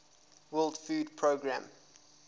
world food programme